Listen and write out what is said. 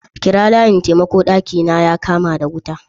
Kira layin taimako! daki na ya kama wuta.